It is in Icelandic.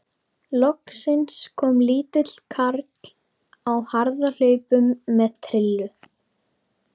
Loksins kom lítill karl á harðahlaupum með trillu.